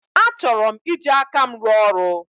Achọrọ m iji aka m rụọ ọrụ.